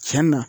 Cɛn na